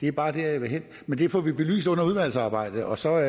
er bare der jeg vil hen men det får vi belyst under udvalgsarbejdet og så er